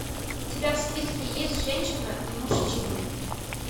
у тебя в списке есть женщина и мужчины